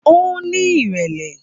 Ó ní ìrẹ̀lẹ́